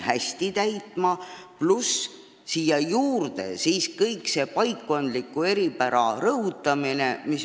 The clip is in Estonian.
Samuti võinuks rõhutada paikkondlikku eripära.